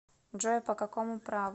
джой по какому праву